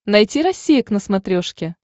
найти россия к на смотрешке